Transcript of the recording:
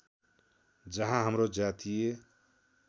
जहाँ हाम्रो जातीय